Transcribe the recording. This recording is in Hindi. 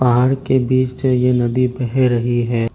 पहाड़ के बीच से ये नदी बह रही है।